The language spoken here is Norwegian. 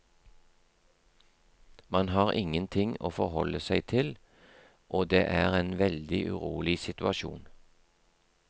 Man har ingenting å forholde seg til, og det er en veldig urolig situasjon.